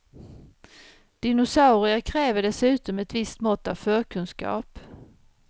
Dinosaurier kräver dessutom ett visst mått av förkunskap.